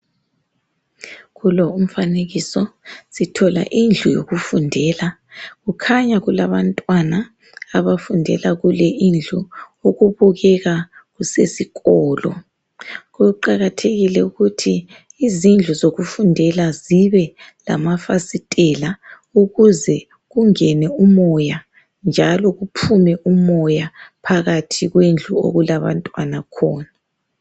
Kulo umfanekiso sithola indlu yokufundela kukhanya kulabantwana abafundela kule indlu okubukeka kusesikolo, kuqakathekile ukuthi izindlu zokufundela zibe lamafasitela ukuze kungena umoya njalo kuphume umoya phakathi kwendlu okulabantwana khona .